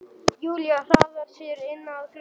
Júlía hraðar sér inn að glugganum.